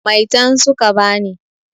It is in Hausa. Maitan su ka ba ni.